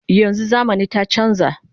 yanzun zamani ta chanza